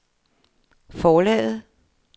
forlaget